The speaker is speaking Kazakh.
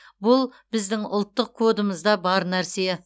бұл біздің ұлттық кодымызда бар нәрсе